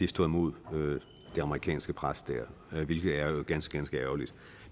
stå imod det amerikanske pres der hvilket jo er ganske ganske ærgerligt